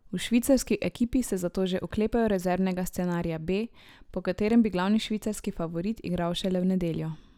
V švicarski ekipi se zato že oklepajo rezervnega scenarija B, po katerem bi glavni švicarski favorit igral šele v nedeljo.